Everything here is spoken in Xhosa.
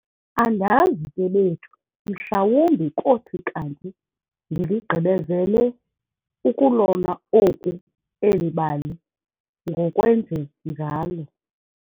Andazi ke bethu, mhlawumbi kothi kanti ndiligqibezele ukulona oku eli bali ngokwenje njalo.